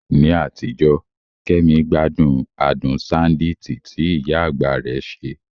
Ní àtijọ́, Kemi gbádùn adùn ṣándíìtì tí ìyá àgbà rẹ̀ ṣe.